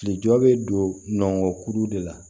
Kile jɔ bɛ don nɔngɔnkuru de la